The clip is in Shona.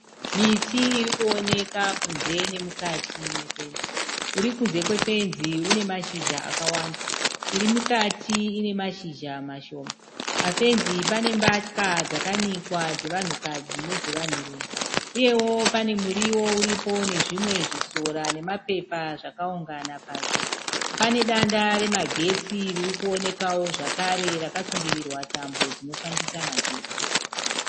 Miti iri kuoneka kunze nemukati mefenzi uri kunze kwefenzi une mashizha akawanda iri mukati ine mashizha mashoma pafenzi pane mbatya dzakanikwa dzevanhukadzi nedzevanhurume uyewo pane muriwo uripo nezvimwe zvisora nemapepa zvakaungana pasi pane danda remagetsi riri kuonekawo zvakare rakasungirirwa tambo dzinofambisa magetsi.